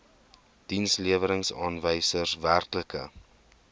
dienslewerings aanwysers werklike